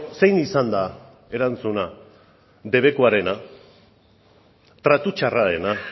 zein izan da erantzuna debekuarena tratu txarrarena